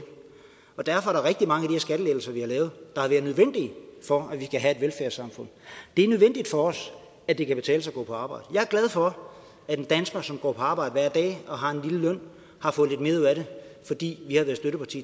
der rigtig mange af de her skattelettelser vi har lavet der har været nødvendige for at vi kan have et velfærdssamfund det er nødvendigt for os at det kan betale sig at gå på arbejde jeg er glad for at en dansker som går på arbejde hver dag og har en lille løn har fået lidt mere ud af det fordi vi har været støtteparti